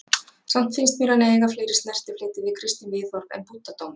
Samt fannst mér hann eiga fleiri snertifleti við kristin viðhorf en búddadómur.